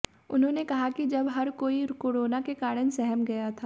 उन्होंने कहा कि जब हर कोई कोरोना के कारण सहम गया था